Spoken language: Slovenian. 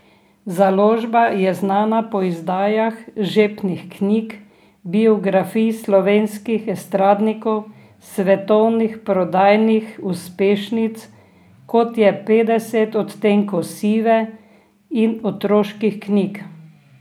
Založba je znana po izdajah žepnih knjig, biografij slovenskih estradnikov, svetovnih prodajnih uspešnic, kot je Petdeset odtenkov sive, in otroških knjig.